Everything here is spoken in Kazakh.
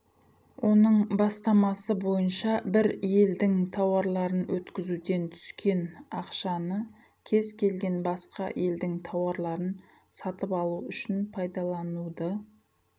оның бастамасы бойынша бір елдің тауарларын өткізуден түскен ақшаны кез келген басқа елдің тауарларын сатып алу үшін пайдалануды